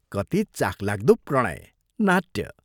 कति चाखलाग्दो प्रणय, नाट्य!